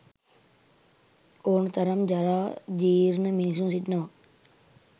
ඔන තරම් ජරා ජීර්ණ මිනිසුන් සිටිනවා.